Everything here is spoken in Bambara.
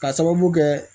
Ka sababu kɛ